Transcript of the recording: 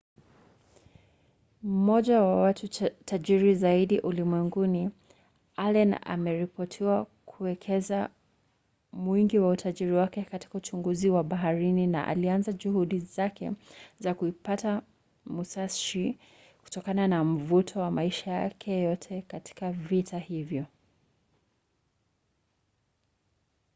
mmoja wa watu tajiri zaidi ulimwenguni allen ameripotiwa kuwekeza mwingi wa utajiri wake katika uchunguzi wa baharini na alianza juhudi zake za kuipata musashi kutokana na mvuto wa maisha yake yote katika vita hivyo